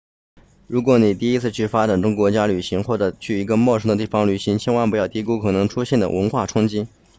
如果你第一次去发展中国家旅行或者去一个陌生的地方旅行千万不要低估可能出现的文化冲击